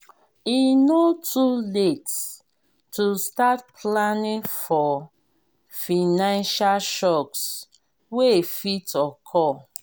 e no too late to start planning for financial shocks wey fit occur.